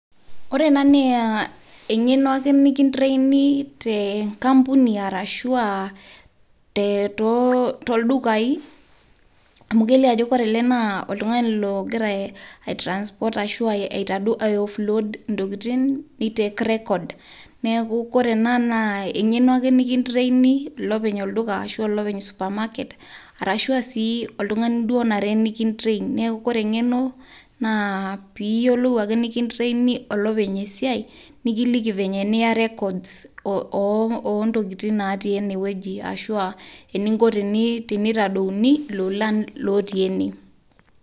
Ore ena naa engeno ake nikintraini tenkampuni arashu aa tooldukai, amu kelio ajo kore ele naa oltungani ogira aitrasport ashu aitadeu ana aioffload intokitin neitake record. Neaku kore ena naa eng'eno ake nikintraini ilopeny olduka ashu olopeny supermarket arashu sii oltung'ani onare nikitrain. Neaku kore eng'eno naa pee iyiolou ake nikintraini olopeny esiai nikiliki venye niya records oo intokiting naatii eneweji ashu aa eninko teneitadeuni ilolan lootii ene.